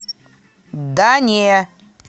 да не